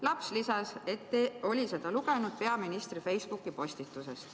Laps lisas, et oli seda lugenud peaministri Facebooki postitusest.